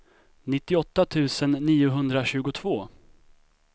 nittioåtta tusen niohundratjugotvå